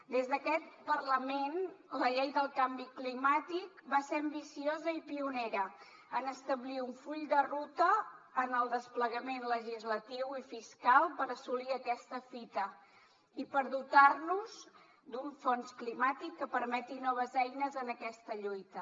des d’aquest parlament la llei del canvi climàtic va ser ambiciosa i pionera en establir un full de ruta en el desplegament legislatiu i fiscal per assolir aquesta fita i per dotar nos d’un fons climàtic que permeti noves eines en aquesta lluita